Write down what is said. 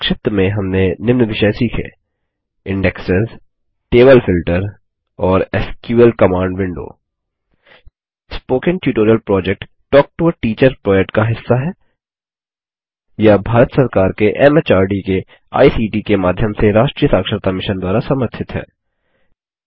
संक्षिप्त में हमने निम्न विषय सीखें इन्डेक्सेस टेबल फिल्टर और SQL command window spoken tutorial project talk to a teacher project का हिस्सा है यह भारत सरकार के एमएचआरडी के आईसीटी के माध्यम से राष्ट्रीय साक्षरता मिशन द्वारा समर्थित है